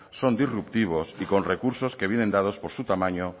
son disruptivos y con recursos que vienen dados por su tamaño